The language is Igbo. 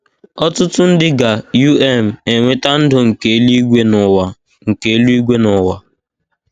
Ọtụtụ ndị ga - um enweta ndụ nke eluigwe n’ụwa nke eluigwe n’ụwa